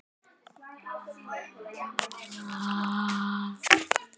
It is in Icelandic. Hlustaði ekki eftir því sem aðrir sögðu, fyrirleit þvaður, slefbera.